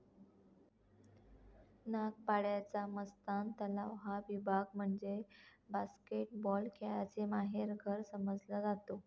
नागपाड्याचा मस्तान तलाव हा विभाग म्हणजे बास्केटबॉल खेळाचे माहेरघर समजला जातो.